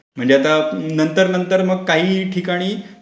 म्हणजे आता नंतर नंतर मग काही ठिकाणी